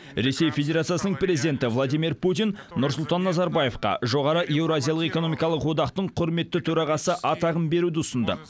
ресей федерациясының президенті владимир путин нұрсұлтан назарбаевқа жоғары еуразиялық экономикалық одақтың құрметті төрағасы атағын беруді ұсынды